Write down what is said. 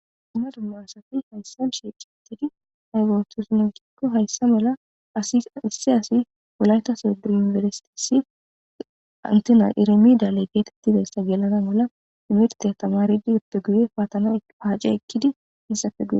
dumma dumma asafi hayssan sheeqiittidi aygeotosnokikko hayssa mala as issi asi wulaytaseduinberisitisi antena irimiidale geetettidayssa gelana mala imirte htamaridi eppeguye paatana haace ekkidi issappe gue